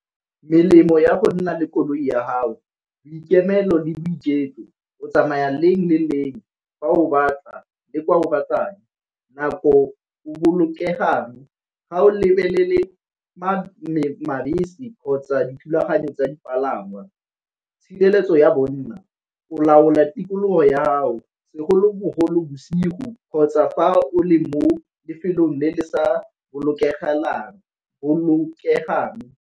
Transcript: Melemo ya go nna le koloi ya gago, boikemelo le boiketlo, o tsamaya leng le leng fa o batla le kwa o batlang. Nako o bolokegang ga o lebelele kgotsa dithulaganyo tsa dipalangwa, tshireletso ya bonna o laola tikologo yago segolobogolo bosigo kgotsa fa o le mo lefelong le le sa bolokegang.